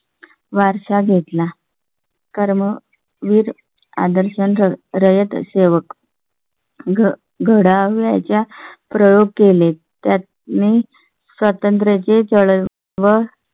वारशा घेतला. कर्म वीर आदर्श, रयत सेवक. घडावया च्या प्रयोग केले. त्यात मी स्वतंत्र चे चळवळी